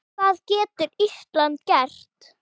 Hvað getur Ísland gert?